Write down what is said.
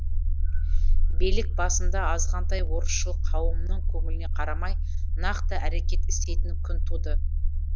билік басында азғантай орысшыл қауымның көңіліне қарамай нақты әрекет істейтін күн туды